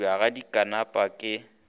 go thubja ga dipanka ke